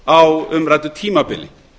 á tilteknu tímabili